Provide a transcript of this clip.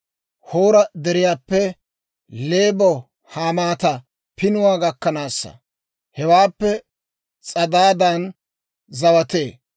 Hoora Deriyaappe Leebo-Hamaata Pinuwaa gakkanaassa; hewaappe S'adaadan zawatee.